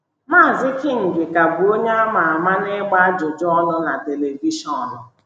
Maazị King ka bụ onye a ma ama n’ịgba ajụjụ ọnụ na telivishọn.